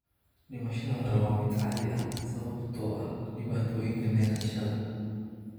Dhimashada hore waa mid caadi ah sababtoo ah dhibaatooyinka neefsashada.